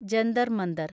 Jantar Manthar